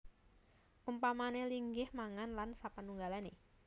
Umpamané linggih mangan lan sapanunggalané